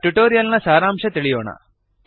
ಈಗ ಟ್ಯುಟೋರಿಯಲ್ ನ ಸಾರಾಂಶ ತಿಳಿಯೋಣ